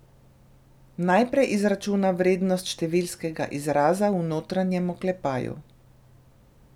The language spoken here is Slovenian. Najprej izračuna vrednost številskega izraza v notranjem oklepaju.